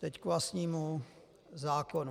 Teď k vlastnímu zákonu.